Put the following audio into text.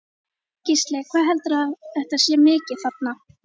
Gísli: Hvað heldurðu að þetta sé mikið þarna?